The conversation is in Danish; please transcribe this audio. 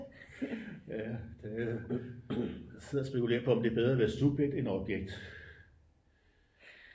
Ja det sidder og spekulerer på om det er bedre at være subjekt end objekt